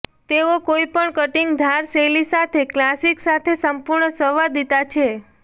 તેઓ કોઈપણ કટીંગ ધાર શૈલી સાથે ક્લાસિક સાથે સંપૂર્ણ સંવાદિતા છે